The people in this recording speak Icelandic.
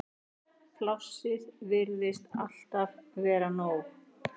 Plássið virtist alltaf vera nóg.